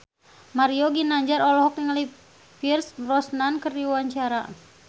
Mario Ginanjar olohok ningali Pierce Brosnan keur diwawancara